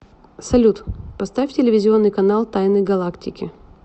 салют поставь телевизионный канал тайны галактики